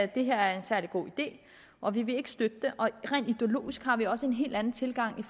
det her er en særlig god idé og vi vil ikke støtte det rent ideologisk har vi også en helt anden tilgang